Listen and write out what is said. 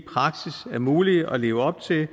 er muligt at leve op til de